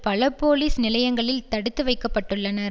பல போலிஸ் நிலையங்களில் தடுத்துவைக்கப்பட்டுள்ளனர்